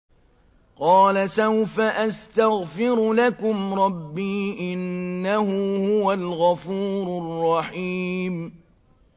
قَالَ سَوْفَ أَسْتَغْفِرُ لَكُمْ رَبِّي ۖ إِنَّهُ هُوَ الْغَفُورُ الرَّحِيمُ